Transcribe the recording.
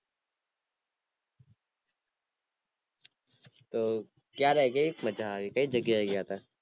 તો ક્યારે, કેવીક મજા આવી, કઈ જગ્યાએ ગયા તા